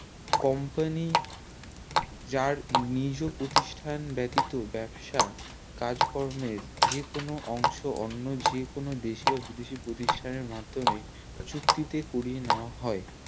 Company যার নিজের প্রতিষ্ঠান ব্যাতিত ব্যবসা কাজকর্মের যে কোনো অংশ অন্য যে কোনো দেশে বা বিদেশে প্রতিষ্ঠানের মাদ্ধমে চুক্তি তে করিয়ে নেওয়া হয়